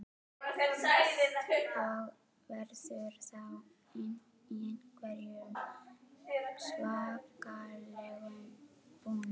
Berghildur: Og verður þá í einhverjum svakalegum búning?